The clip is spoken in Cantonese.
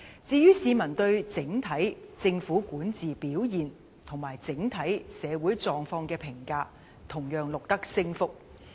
至於市民對政府的管治表現及整體社會狀況的評價，同樣錄得升幅。